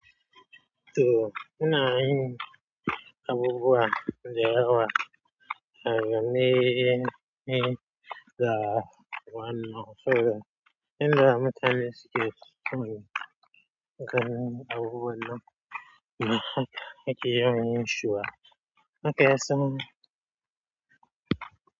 To ina yin abubuwa da yawa da gani ne da wannan fure. Inda mutane suke ganin abubuwan nan ba haka ake yawan yinshi ba, haka ya sa.